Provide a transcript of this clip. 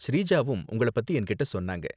ஸ்ரீஜாவும் உங்கள பத்தி என்கிட்ட சொன்னாங்க.